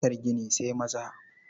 Harkar gini sai maza.